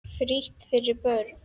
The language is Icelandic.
Frítt fyrir börn.